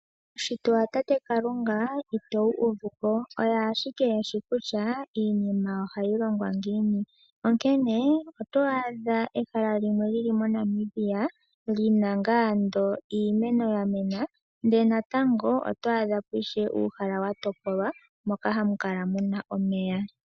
Uushitwe wa tate Kalunga ito wu uvuko oye ashike eshi kutya iinima ohayi ningwa ngiini, onkene oto adha ehala limwe lyili moNamibia li na ngaa ando iimeno ya mena ndele natango oto adha po ishewe uuhala wa topolwa moka hamu kala muna omeya.